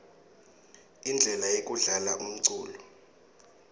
indle yekudlala umculo